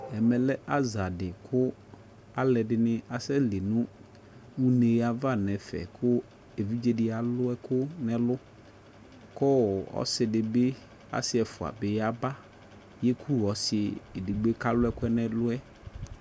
Ɛmɛ lɛ aza de ko alɛde de ne asɛ li no une ava nɛfɛ ko evidze de alu ɛku nɛlu ko ɔse de be, ase ɛfua be yaba yeku ɔse edigboe kalu ɛkuɛ nɛluɛ